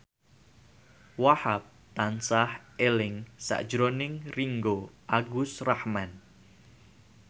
Wahhab tansah eling sakjroning Ringgo Agus Rahman